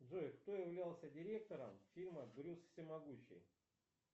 джой кто являлся директором фильма брюс всемогущий